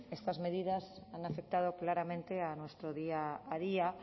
estas medidas han afectado claramente a nuestro día a día